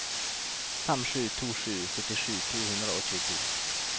fem sju to sju syttisju to hundre og tjueto